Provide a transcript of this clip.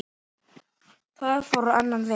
Það fór á annan veg.